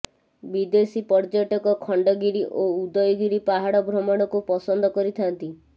ବିଦେଶୀ ପର୍ଯ୍ୟଟକ ଖଣ୍ଡଗିରି ଓ ଉଦୟଗିରି ପାହାଡ଼ ଭ୍ରମଣକୁ ପସନ୍ଦ କରିଥାଆନ୍ତି